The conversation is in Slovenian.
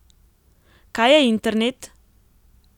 Kaj je internet?